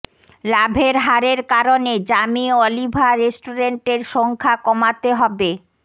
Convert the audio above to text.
লাভের হারের কারণে জামি অলিভার রেস্টুরেন্টের সংখ্যা কমাতে হবে